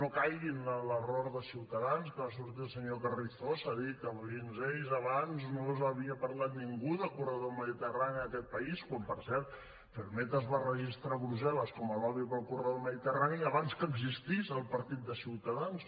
no caigui en l’error de ciutadans que va sortir el senyor carrizosa a dir que fins a ells abans no havia parlat ningú de corredor mediterrani en aquest país quan per cert ferrmed es va registrar a brussel·les com a lobby per al corredor mediterrani abans que existís el partit de ciutadans